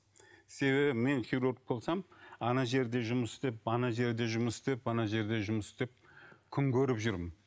себебі мен хирург болсам ана жерде жұмыс істеп ана жерде жұмыс істеп ана жерде жұмыс істеп күн көріп жүрмін